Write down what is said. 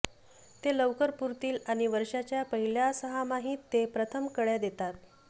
ते लवकर पुरतील आणि वर्षाच्या पहिल्या सहामाहीत ते प्रथम कळ्या देतात